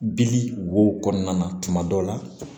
Bili wo kɔnɔna na tuma dɔ la